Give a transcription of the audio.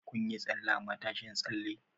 Kun yi tsalle a matashin tsalle?